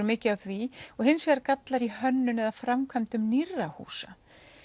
mikið að því og hins vegar gallar í hönnun eða framkvæmdum nýrra húsa